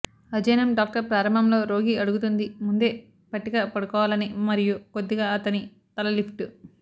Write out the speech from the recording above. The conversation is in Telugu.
అధ్యయనం డాక్టర్ ప్రారంభంలో రోగి అడుగుతుంది ముందే పట్టిక పడుకోవాలని మరియు కొద్దిగా అతని తల లిఫ్ట్